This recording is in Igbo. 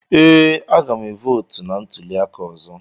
Ee, a ga m votu na ntuli aka ọzọ.